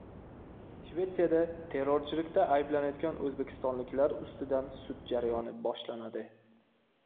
Shvetsiyada terrorchilikda ayblanayotgan o‘zbekistonliklar ustidan sud jarayoni boshlanadi.